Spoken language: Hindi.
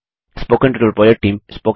spoken tutorial project team